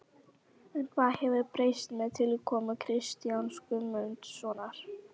En hvað hefur breyst með tilkomu Kristjáns Guðmundssonar?